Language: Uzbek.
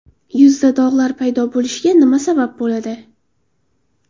Yuzda dog‘lar paydo bo‘lishiga nima sabab bo‘ladi?.